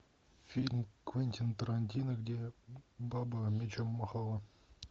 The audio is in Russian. фильм квентина тарантино где баба мечом махала